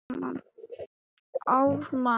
En skilningur og skynjun fóru ekki alltaf saman.